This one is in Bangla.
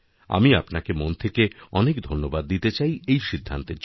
আমি আপনাকে মন থেকে অনেক ধন্যবাদ দিতে চাই এইসিদ্ধান্তের জন্য